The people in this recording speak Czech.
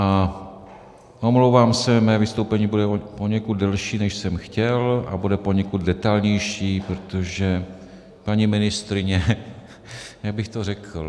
A omlouvám se, mé vystoupení bude poněkud delší, než jsem chtěl, a bude poněkud detailnější, protože paní ministryně - jak bych to řekl?